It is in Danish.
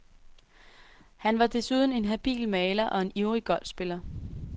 Han var desuden en habil maler og en ivrig golfspiller.